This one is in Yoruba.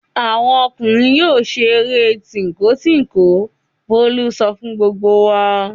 "Àwọn ọmọkùnrin yóò ṣeré tínko-tínko!" Bólú sọ fún gbogbo wa.